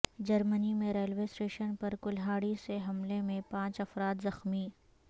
جرمنی میں railway station پر کلہاڑی سے حملے میں پانچ افراد زخمی